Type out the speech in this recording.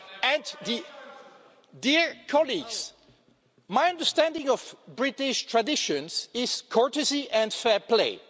and the Dear colleagues, my understanding of British traditions is courtesy and fair play.